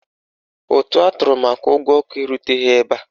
Ụtụ atụrụ maka ụgwọ ọkụ eruteghi ebe a.